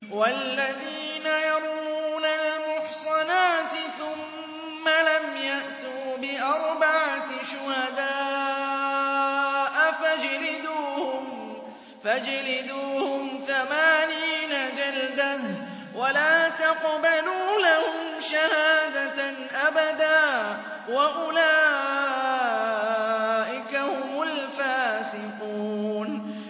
وَالَّذِينَ يَرْمُونَ الْمُحْصَنَاتِ ثُمَّ لَمْ يَأْتُوا بِأَرْبَعَةِ شُهَدَاءَ فَاجْلِدُوهُمْ ثَمَانِينَ جَلْدَةً وَلَا تَقْبَلُوا لَهُمْ شَهَادَةً أَبَدًا ۚ وَأُولَٰئِكَ هُمُ الْفَاسِقُونَ